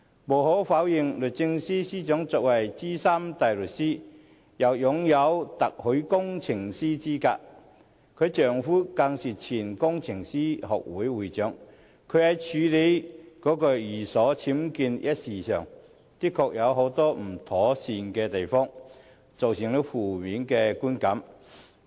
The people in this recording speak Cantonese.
無可否認，律政司司長是資深大律師，亦擁有特許工程師資格，丈夫更是香港工程師學會前會長，她在處理寓所僭建一事上，的確有很多不妥善的地方，造成了負面的觀感。